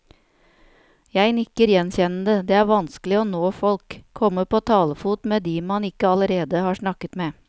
Jeg nikker gjenkjennende, det er vanskelig å nå folk, komme på talefot med de man ikke allerede har snakket med.